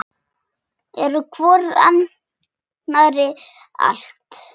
Eru hvor annarri allt.